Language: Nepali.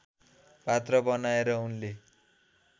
पात्र बनाएर उनले